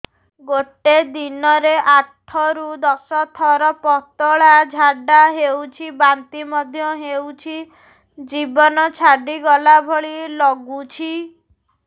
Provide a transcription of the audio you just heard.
ଗୋଟେ ଦିନରେ ଆଠ ରୁ ଦଶ ଥର ପତଳା ଝାଡା ହେଉଛି ବାନ୍ତି ମଧ୍ୟ ହେଉଛି ଜୀବନ ଛାଡିଗଲା ଭଳି ଲଗୁଛି